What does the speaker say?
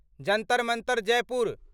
Jantar Mantar Jaipur